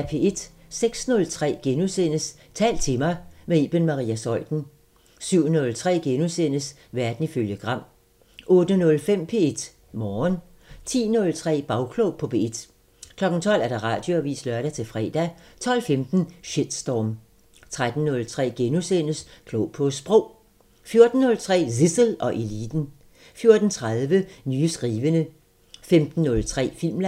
06:03: Tal til mig – med Iben Maria Zeuthen * 07:03: Verden ifølge Gram * 08:05: P1 Morgen 10:03: Bagklog på P1 12:00: Radioavisen (lør-fre) 12:15: Shitstorm 13:03: Klog på Sprog * 14:03: Zissel og Eliten 14:30: Nye skrivende 15:03: Filmland